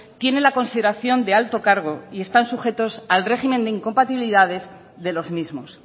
tiene la consideración de alto cargo y están sujetos al régimen de incompatibilidades de los mismos